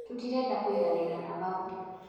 titareda kũiganira na mau